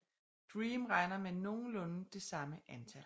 DREAM regner med nogenlunde det samme antal